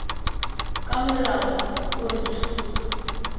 ka molao o re tshuba